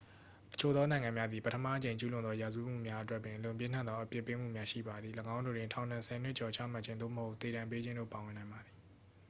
အချို့သောနိုင်ငံများသည် ပထမအကြိမ်ကျူးလွန်သောရာဇဝတ်မှုများအတွက်ပင် အလွန်ပြင်းထန်သောအပြစ်ပေးမှုများ ရှိပါသည် ၎င်းတို့တွင် ထောင်ဒဏ် 10 နှစ်ကျော်ချမှတ်ခြင်း သို့မဟုတ် သေဒဏ်ပေးခြင်းတို့ ပါဝင်နိုင်ပါသည်